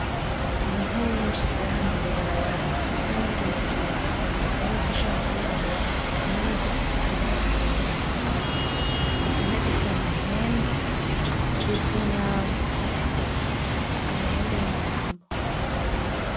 N'inka nyinshi ziri ahantu mwibarabara zisa n'iginagina harimwo n'izishaka kwirabura harimwo nizifise utubara twera hagati izo nka zifise amahembe zitwa inyambo zifise amahembe y'inyambo.